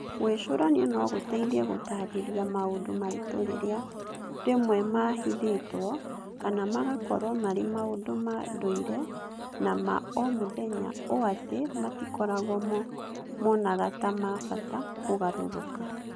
Gwĩcũrania no gũteithie gũtaarĩria maũndũ maritũ rĩrĩa rĩmwe mahithĩtwo, kana magakorũo marĩ maũndũ ma ndũire na ma o mũthenya ũũ atĩ matikoragwo monaga ta ma bata kũgarũrũka.